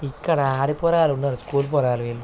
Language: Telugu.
ఇక్కడ ఆరిపోరాళ్ళున్నారు. స్కూల్ పోరాళ్ళు వీళ్ళు --